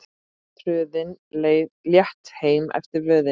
Tröðin létt heim eftir vöðin.